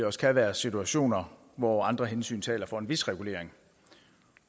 også kan være situationer hvor andre hensyn taler for en vis regulering